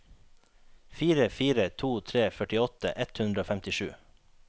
fire fire to tre førtiåtte ett hundre og femtisju